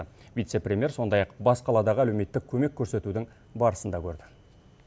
вице премьер сондай ақ бас қаладағы әлеуметтік көмек көрсетудің барысын да көрді